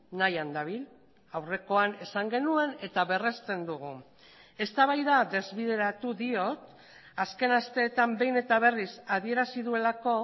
nahian dabil aurrekoan esan genuen eta berresten dugu eztabaida desbideratu diot azken asteetan behin eta berriz adierazi duelako